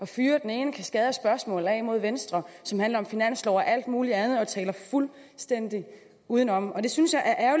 fyre den ene kaskade af spørgsmål af mod venstre som handler om finanslov og alt muligt andet og taler fuldstændig udenom det synes jeg er